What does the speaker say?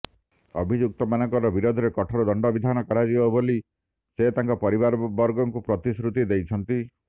ଅଭିଯୁକ୍ତମାନଙ୍କ ବିରୋଧରେ କଠୋର ଦଣ୍ଡବିଧାନ କରାଯିବ ବୋଲି ସେ ତାଙ୍କ ପରିବାରବର୍ଗଙ୍କୁ ପ୍ରତିଶ୍ରୁତି ଦେଇଛନ୍ତି